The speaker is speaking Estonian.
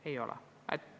Ei ole!